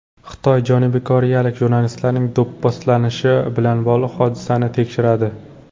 Xitoy janubiy koreyalik jurnalistlarning do‘pposlanishi bilan bog‘liq hodisani tekshiradi.